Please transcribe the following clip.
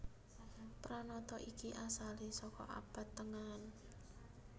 Pranata iki asalé saka Abad Tengahan